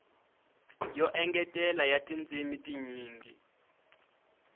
yo engetela ya tindzimi tinyingi